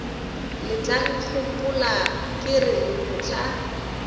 letlankgopola ke re le mohla